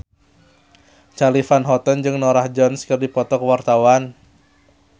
Charly Van Houten jeung Norah Jones keur dipoto ku wartawan